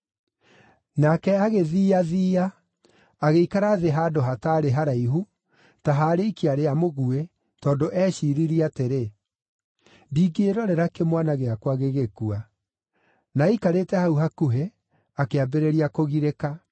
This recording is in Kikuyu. Nake agĩthiiathiia, agĩikara thĩ handũ hataarĩ haraihu, ta ha rĩikia rĩa mũguĩ, tondũ eeciiririe atĩrĩ, “Ndingĩĩrorera kĩmwana gĩakwa gĩgĩkua.” Na aikarĩte hau hakuhĩ, akĩambĩrĩria kũgirĩka.